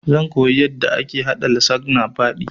Zan koya yanda ake haɗa lasagna baɗi